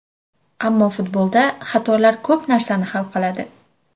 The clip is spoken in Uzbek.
Ammo futbolda xatolar ko‘p narsani hal qiladi”.